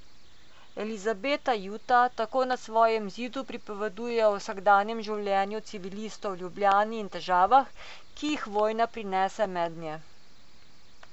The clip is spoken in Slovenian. Elizabeta Juta tako na svojem zidu pripoveduje o vsakdanjem življenju civilistov v Ljubljani in težavah, ki jih vojna prinese mednje.